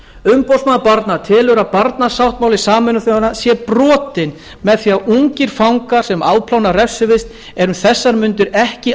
umboðsmaður barna telur að barnasáttmáli sameinuðu þjóðanna sé brotinn með því að ungir fangar sem afplána refsivist eru um þessar mundir ekki